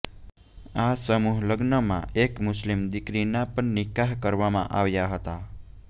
આ સમૂહલગ્નમાં એક મુસ્લિમ દીકરીના પણ નિકાહ કરવામાં આવ્યા હતા